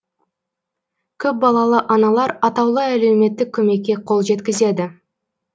көпбалалы аналар атаулы әлеуметтік көмекке қол жеткізеді